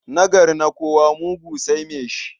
Nagari na kowa, mugu sai mai shi.